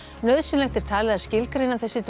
nauðsynlegt er talið að skilgreina þessi